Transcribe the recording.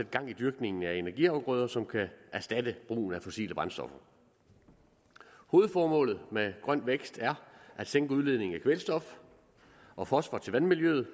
gang i dyrkningen af energiafgrøder som kan erstatte brugen af fossile brændstoffer hovedformålet med grøn vækst er at sænke udledningen af kvælstof og fosfor til vandmiljøet